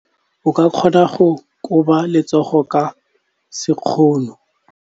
O ka kgona go koba letsogo ka sekgono.